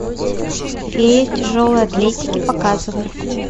фея тяжелой атлетики показывай